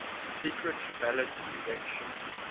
secret ballot election